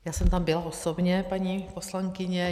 Já jsem tam byla osobně, paní poslankyně.